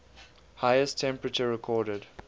highest temperature recorded